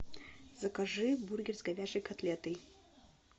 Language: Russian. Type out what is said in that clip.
закажи бургер с говяжьей котлетой